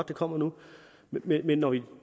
kommer nu men når vi